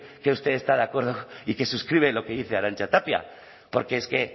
que usted está de acuerdo y que suscribe lo que dice arantza tapia porque es que